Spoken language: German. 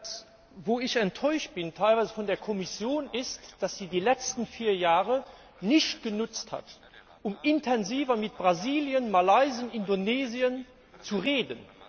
Von wem ich enttäuscht bin? Teilweise von der Kommission, weil sie die letzten vier Jahre nicht genutzt hat, um intensiver mit Brasilien, Malaysia und Indonesien zu reden.